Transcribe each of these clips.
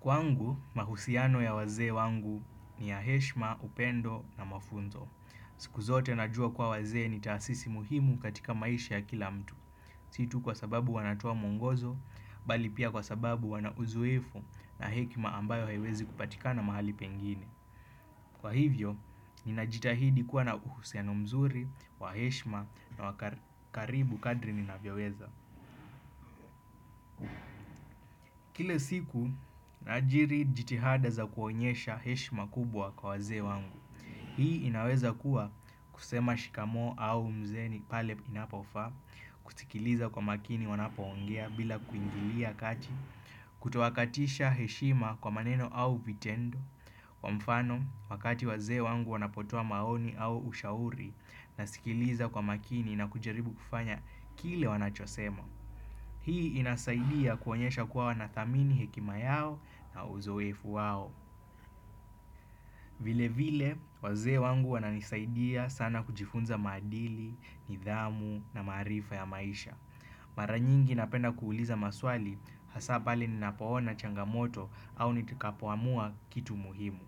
Kwangu, mahusiano ya wazee wangu ni ya heshma, upendo na mafunzo. Siku zote na jua kwa wazee ni taasisi muhimu katika maisha ya kila mtu. Situ kwa sababu wanatoa mwongozo, bali pia kwa sababu wanauzoefu na hekima ambayo haiwezi kupatika na mahali pengine. Kwa hivyo, ninajitahidi kuwa na uhusiano mzuri, waheshma na wakaribu kadri ninavyoweza. Kile siku, naajiri jitihada za kuonyesha heshima kubwa kwa wazee wangu. Hii inaweza kuwa kusema shikamoo au mzee ni pale inapofa, kusikiliza kwa makini wanapoongea bila kuingilia kati, kutowakatisha heshima kwa maneno au vitendo, kwa mfano wakati wazee wangu wanapotoa maoni au ushauri, nasikiliza kwa makini na kujaribu kufanya kile wanachosema. Hii inasaidia kuonyesha kuwa wanathamini hekima yao na uzoefu wao. Vile vile, wazee wangu wana nisaidia sana kujifunza maadili, nidhamu na maarifa ya maisha. Maranyingi napenda kuuliza maswali hasa pale ninapoona changamoto au nitikapoamua kitu muhimu.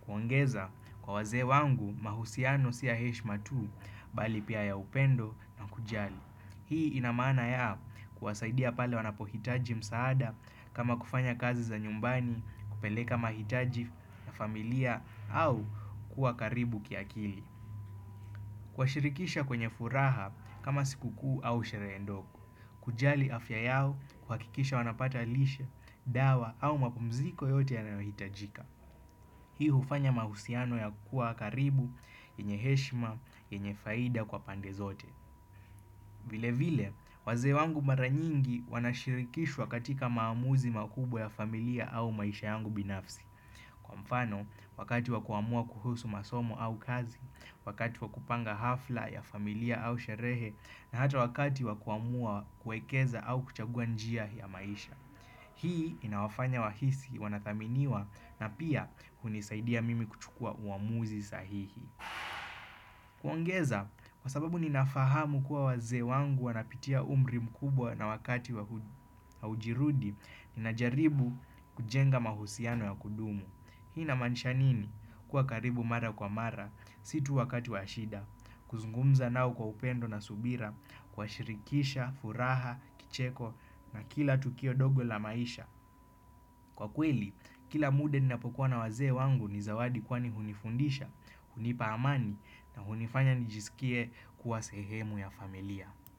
Kuongeza, kwa wazee wangu, mahusiano siya heshma tu, bali pia ya upendo na kujali. Hii inamaana ya kuwasaidia pale wanapohitaji msaada kama kufanya kazi za nyumbani, kupeleka mahitaji na familia au kuwa karibu kia kili. Kuwa shirikisha kwenye furaha kama siku kuu au sherehe ndogo. Kujali afya yao kuhakikisha wanapata lishe, dawa au mapumziko yote yanayohitajika. Hii hufanya mahusiano ya kuwa karibu, yenye heshima, yenye faida kwa pande zote. Vile vile, wazee wangu mara nyingi wanashirikishwa katika maamuzi makubwa ya familia au maisha yangu binafsi. Mfano, wakati wakuamua kuhusu masomo au kazi, wakati wakupanga hafla ya familia au sherehe, na hata wakati wakuamua kuekeza au kuchagua njia ya maisha. Hii inawafanya wahisi wanathaminiwa na pia unisaidia mimi kuchukua uamuzi sahihi. Kuongeza, kwa sababu ninafahamu kuwa wazee wangu wanapitia umri mkubwa na wakati wa ujirudi, ninajaribu kujenga mahusiano ya kudumu. Hii na maanisha nini? Kuwa karibu mara kwa mara, situ wakati wa shida, kuzungumza nao kwa upendo na subira, kuwa shirikisha, furaha, kicheko na kila tukio ndogo la maisha. Kwa kweli, kila mude ni napokuwa na wazee wangu ni zawadi kwani hunifundisha, hunipa amani na hunifanya nijisikie kuwa sehemu ya familia.